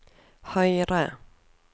høyre